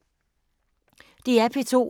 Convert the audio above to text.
DR P2